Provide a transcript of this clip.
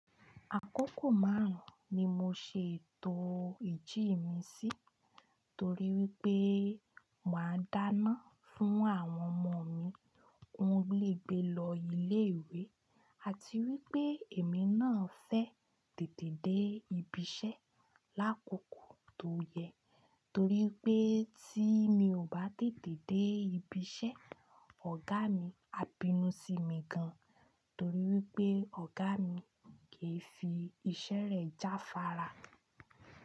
Àkókò márùn-ún ni mo ṣe ètò ìjí mi sí torí wípé mà á dáná fún àwọn ọmọ mi, ki won lè gbé lọ ilé ìwé àti wípé èmi náà fẹ́ tètè dé ibi iṣẹ́ lákòókò tó yẹ torí pé tí mi ò bá tètè dé ibi iṣẹ́, ọ̀gá mi á bínú sí mi gan torí wípé ọ̀gá mi kì í fi iṣẹ́ rẹ̀ jáfára.